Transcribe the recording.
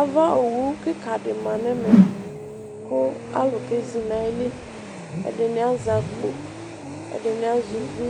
Ava owu kika di ma nʋ ɛmɛ, kʋ alu kezi nʋ ayili Ɛdɩnɩ azɛ akpo, ɛdɩnɩ azɛ uvi,